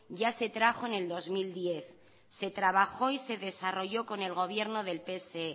ya se trajo en el dos mil diez se trabajó y de desarrolló con el gobierno del pse